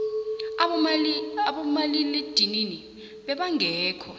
abomalila eedinini beba ngekho